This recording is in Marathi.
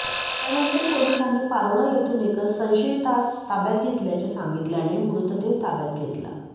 त्यानंतर पोलिसांनी पारोळा येथून एका संशयितास ताब्यात घेतल्याचे सांगितल्याने मृतदेह ताब्यात घेतला